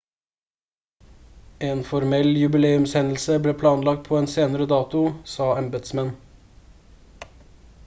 en formell jubileumshendelse ble planlagt på en senere dato sa embetsmenn